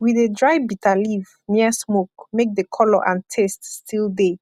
we dey dry bitterleaf near smoke make the colour and taste still de